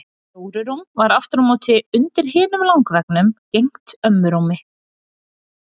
Jóru rúm var aftur á móti undir hinum langveggnum gegnt ömmu rúmi.